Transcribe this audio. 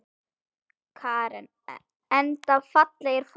Karen: Enda fallegir formenn?